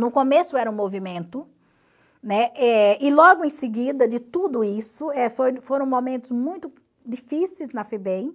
No começo era um movimento, né, eh e logo em seguida de tudo isso, eh foi foram momentos muito difíceis na Febem,